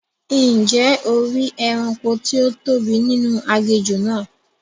Ǹjẹ́ o ri ẹranko tí ó tóbi nínú aginjù náà?